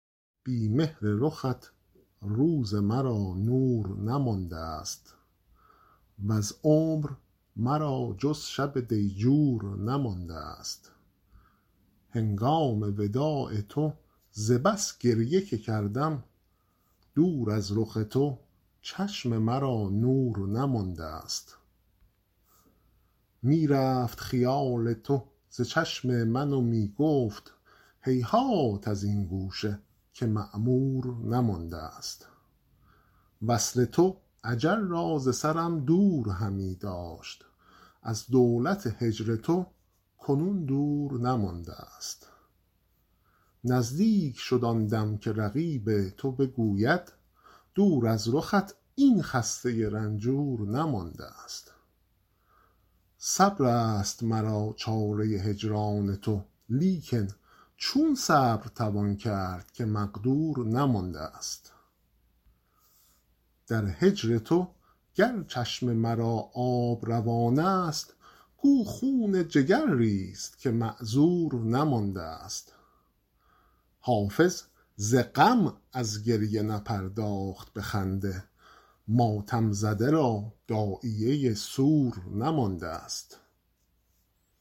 بی مهر رخت روز مرا نور نماندست وز عمر مرا جز شب دیجور نماندست هنگام وداع تو ز بس گریه که کردم دور از رخ تو چشم مرا نور نماندست می رفت خیال تو ز چشم من و می گفت هیهات از این گوشه که معمور نماندست وصل تو اجل را ز سرم دور همی داشت از دولت هجر تو کنون دور نماندست نزدیک شد آن دم که رقیب تو بگوید دور از رخت این خسته رنجور نماندست صبر است مرا چاره هجران تو لیکن چون صبر توان کرد که مقدور نماندست در هجر تو گر چشم مرا آب روان است گو خون جگر ریز که معذور نماندست حافظ ز غم از گریه نپرداخت به خنده ماتم زده را داعیه سور نماندست